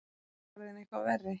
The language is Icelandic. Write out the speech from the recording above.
Orðinn eitthvað verri?